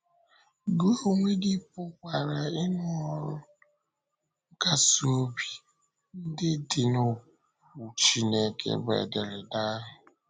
Gị onwe gị pụkwara ịnụ ọrụ nkasi obi ndị dị n’Okwu Chineke, bụ́ ederede ahụ.